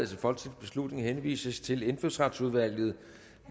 til folketingsbeslutning henvises til indfødsretsudvalget